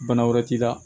Bana wɛrɛ t'i la